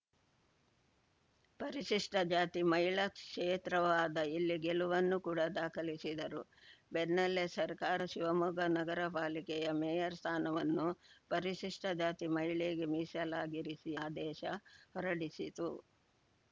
ಪರಿಶಿಷ್ಟಜಾತಿ ಮಹಿಳಾ ಕ್ಷೇತ್ರವಾದ ಇಲ್ಲಿ ಗೆಲುವನ್ನು ಕೂಡ ದಾಖಲಿಸಿದರು ಬೆನ್ನಲ್ಲೇ ಸರ್ಕಾರ ಶಿವಮೊಗ್ಗ ನಗರಪಾಲಿಕೆಯ ಮೇಯರ್‌ ಸ್ಥಾನವನ್ನು ಪರಿಶಿಷ್ಟಜಾತಿ ಮಹಿಳೆಗೆ ಮೀಸಲಾಗಿರಿಸಿ ಆದೇಶ ಹೊರಡಿಸಿತು